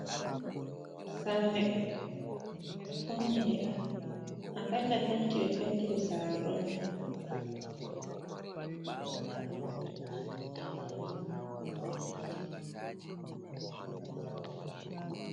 Sare, ɓeɗo fauni nde a kalla penti ɓe pentide sare doni, waɗi kala tati ɓeɗo wanni nde windoji je gilas nda bol hiti.